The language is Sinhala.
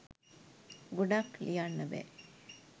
ගොඩක් ලියන්න බෑ